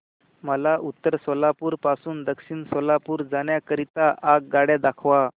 मला उत्तर सोलापूर पासून दक्षिण सोलापूर जाण्या करीता आगगाड्या दाखवा